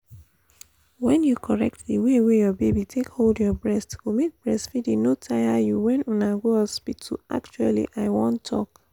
when you correct the way your baby take hold your breast go make breastfeeding no tire you when una go hospital actually i won talk